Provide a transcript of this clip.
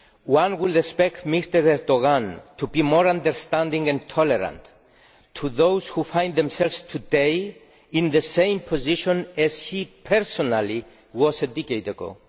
One would expect Mr Erdoğan to be more understanding and tolerant of those who find themselves today in the same position as he personally was in a decade ago.